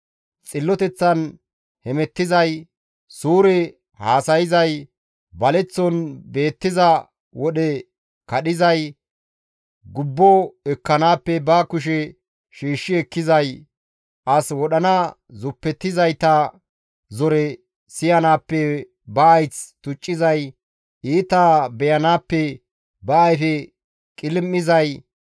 Xilloteththan hemettizay, suure haasayzay, baleththon beettiza wodhe kadhizay, gubbo ekkenaappe ba kushe shiishshi ekkizay, as wodhana zuppetizayta zore siyanaappe ba hayth tuccizay, iita beyanaappe ba ayfe qilim7izay,